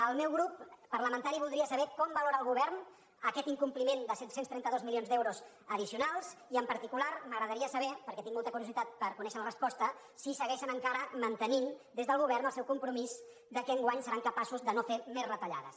el meu grup parlamentari voldria saber com valora el govern aquest incompliment de set cents i trenta dos milions d’euros addicionals i en particular m’agradaria saber perquè tinc molta curiositat per conèixer la resposta si segueixen encara mantenint des del govern el seu compromís que enguany seran capaços de no fer més retallades